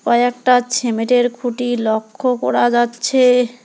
কয়েকটা ছিমেটের খুটি লক্ষ্য করা যাচ্ছে।